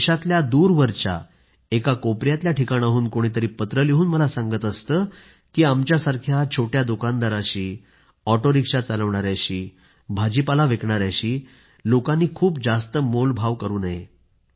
देशातल्या दूरवरच्या एका कोपऱ्यातल्या ठिकाणाहून कोणी तरी पत्र लिहून मला सांगत असतो की आमच्यासारख्या छोट्या दुकानदारांशी ऑटो रिक्षा चालवणाऱ्यांशी भाजीपाला विकणाऱ्यांशी लोकांनी खूप जास्त मोलभाव करू नये